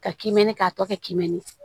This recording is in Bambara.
Ka kinni k'a tɔ kɛmɛnni ye